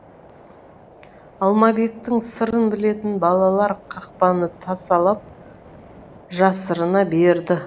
алмабектің сырын білетін балалар қақпаны тасалап жасырына берді